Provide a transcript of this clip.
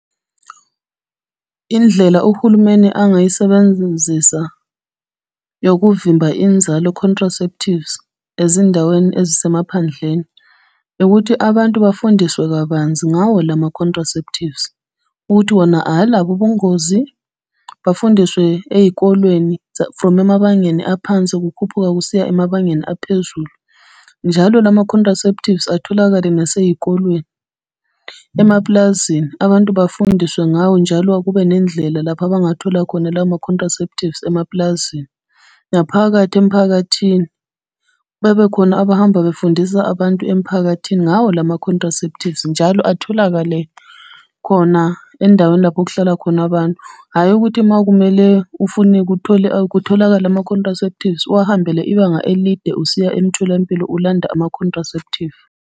Indlela uhulumeni angayisebenzisa yokuvimba inzalo, contraceptives, ezindaweni ezisemaphandleni, ukuthi abantu bafundiswe kabanzi ngawo lama-contraceptives. Ukuthi wona alabo ubungozi, bafundiswe ey'kolweni from emabangeni aphansi kukhuphuka kusiya emabangeni aphezulu. Njalo lama-contraceptives atholakale nasey'kolweni, emapulazini, abantu bafundiswe ngawo njalo kube nendlela lapha abangathola khona lama-contraceptives emapulazini, naphakathi emphakathini. Bebekhona abahambe befundisa abantu emphakathini ngawo lama-contraceptives njalo atholakale khona endaweni lapho okuhlala khona abantu. Hhayi ukuthi uma kumele ufuni kutholakale ama-contraceptives uwahambele ibanga elide usiya emtholampilo ulanda ama-contraceptives.